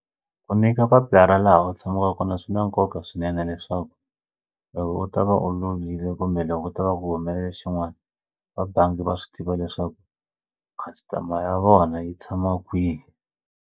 Ku nyika papila ra laha u tshamaka kona swi na nkoka swinene leswaku loko u ta va u lovile kumbe loko u ta va ku humelela xin'wana va bangi va swi tiva leswaku customer ya vona yi tshama kwihi.